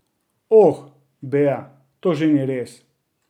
Oh, Bea, to že ni res!